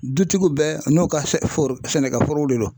Dutigi bɛɛ n'u ka foro sɛnɛkɛforow de don.